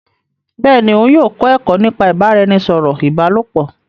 Bẹẹni, òun yóò kọ ẹkọ nípa ibaraẹnisọrọ ìbálòpọ̀